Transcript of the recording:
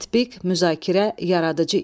Tətbiq, müzakirə, yaradıcı iş.